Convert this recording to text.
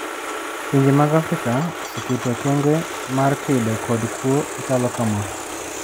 Pinnje mag Afrika oseketo okenge mar kedo kod kwo machalo kama.